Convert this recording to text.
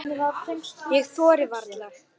Ég þori varla.